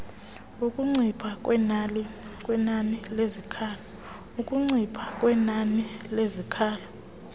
ukuncipha kwenani lezikhalo